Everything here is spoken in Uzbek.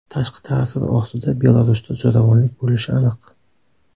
Tashqi ta’sir ostida Belarusda zo‘ravonlik bo‘lishi aniq.